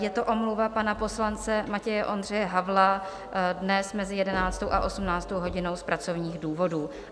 Je to omluva pana poslance Matěje Ondřeje Havla dnes mezi 11. a 18. hodinou z pracovních důvodů.